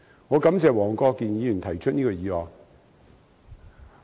我感謝黃國健議員提出這項議案。